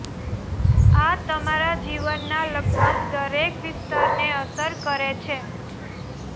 આ તમારા જીવનના લગભગ દરેક વિસ્તારને અસર કરે છે